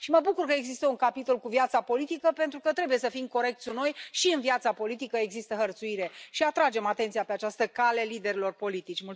Mă bucur că există un capitol cu viața politică, pentru că trebuie să fim corecți cu noi și în viața politică există hărțuire, și atragem atenția pe această cale liderilor politici.